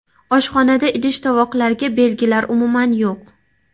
Oshxonada idish tovoqlarga belgilar umuman yo‘q.